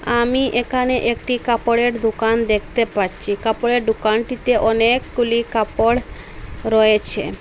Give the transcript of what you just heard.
আমি এখানে একটি কাপড়ের দোকান দেখতে পারছি কাপড়ের দোকানটিতে অনেকগুলি কাপড় রয়েছে।